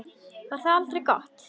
Var það aldrei gott?